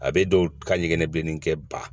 A bɛ dɔw ka ɲɛgɛn bilennin kɛ ba